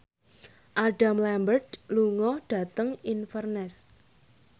Adam Lambert lunga dhateng Inverness